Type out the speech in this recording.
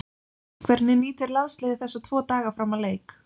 Hvernig nýtir landsliðið þessa tvo daga fram að leik?